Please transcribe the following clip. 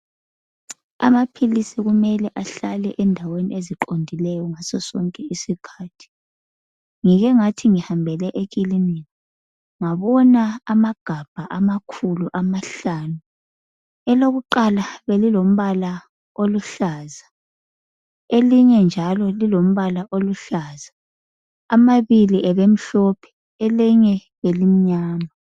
Amaphilisi kumele ahlale endaweni eziqondileyo ngaso sonke isikhathi. Ngike ngathi ngihambele ekilinika, ngabona amagabha amakhulu amahlanu, elokuqala belilombala oluhlaza, elinye njalo lilombala oluhlaza, amabili abemhlophe, elinye kade limnyama.